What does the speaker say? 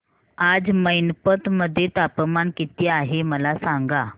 आज मैनपत मध्ये तापमान किती आहे मला सांगा